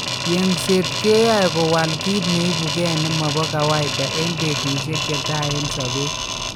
Yengset keyoe kowal kit neipuge nemopo kawaida en petusiek chetai en sopet.